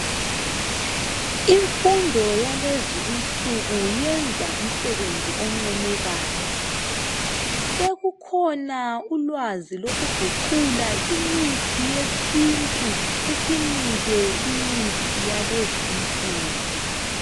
Imfundo yalezinsuku iyenza umsebenzi oncomekayo . Sekukhona ulwazi lokuguqula imithi yesintu isinike yalezinsuku .